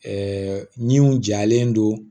Ɛɛ min jalen don